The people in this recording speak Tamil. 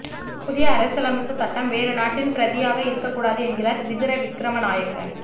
புதிய அரசியலமைப்புச் சட்டம் வேறு நாட்டின் பிரதியாக இருக்கக் கூடாது என்கிறார் விதுர விக்ரமநாயக்க